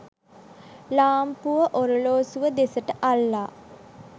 ලාම්පුව ඔරලෝසුව දෙසට අල්ලා